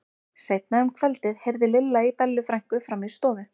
Seinna um kvöldið heyrði Lilla í Bellu frænku frammi í stofu.